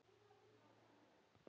Þú, þegar augu opnast.